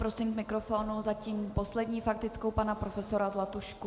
Prosím k mikrofonu zatím poslední faktickou pana profesora Zlatušku.